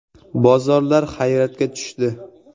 Bozorlar hayratga tushdi.